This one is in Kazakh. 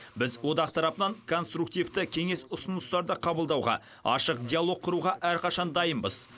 біз одақ тарапынан конструктивті кеңес ұсыныстарды қабылдауға ашық диалог құруға әрқашан дайынбыз